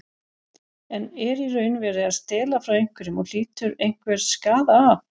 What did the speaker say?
En er í raun verið að stela frá einhverjum og hlýtur einhver skaða af?